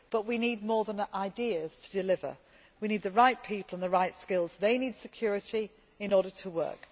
But we need more than ideas to deliver we need the right people and the right skills, and they need security in order to work.